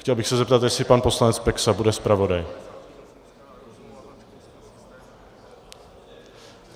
Chtěl bych se zeptat, jestli pan poslanec Peksa bude zpravodajem.